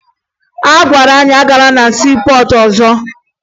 A gwara anyị agala na siipọọtụ ọzọ